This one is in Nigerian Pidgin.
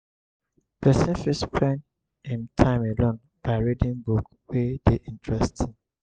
person fit spend im time alone by reading book wey dey interesting